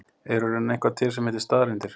Er í raun eitthvað til sem heitir staðreyndir?